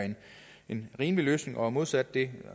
en rimelig løsning og modsat det